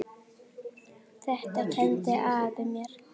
Þetta kenndi afi mér.